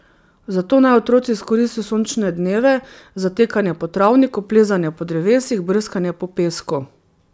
Zato naj otroci izkoristijo sončne dneve za tekanje po travniku, plezanje po drevesih, brskanje po pesku ...